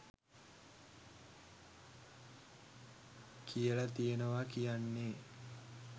කියල තියෙනවා කියන්නේ